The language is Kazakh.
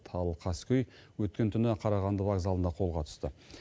ал қаскөй өткен түні қарағанды вокзалында қолға түсті